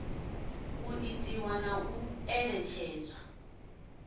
u itiwa na u ṋetshedzwa